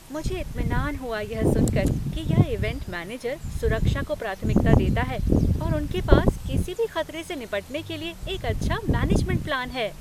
मुझे इत्मिनान हुआ यह सुनकर कि यह ईवेंट मैनेजर सुरक्षा को प्राथमिकता देता है और उनके पास किसी भी खतरे से निपटने के लिए एक अच्छा मैनेजमेंट प्लान है।